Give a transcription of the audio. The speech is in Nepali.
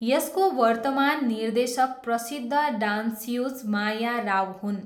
यसको वर्तमान निर्देशक प्रसिद्ध डान्स्युज माया राव हुन्।